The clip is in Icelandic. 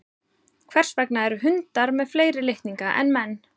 Hvers vegna eru hundar með fleiri litninga en menn?